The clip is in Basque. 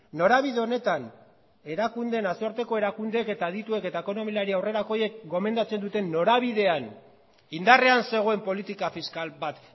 norabide honetan nazioarteko erakundeek eta adituek eta ekonomilari aurrerakoiek gomendatzen duten norabidean indarrean zegoen politika fiskal bat